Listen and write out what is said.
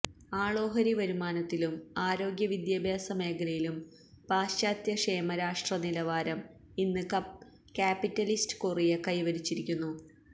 ആളോഹരി വരുമാനത്തിലും ആരോഗ്യവിദ്യാഭ്യാസ മേഖലയിലും പാശ്ചാത്യ ക്ഷേമരാഷ്ട്ര നിലവാരം ഇന്ന് കാപ്പിറ്റലിസ്റ്റ് കൊറിയ കൈവരിച്ചിരിക്കുന്നു